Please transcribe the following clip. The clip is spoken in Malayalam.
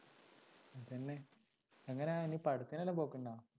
തന്നെ എങ്ങനെ ഇനി പടത്തിനെല്ലാം പോക്കുണ്ടോ?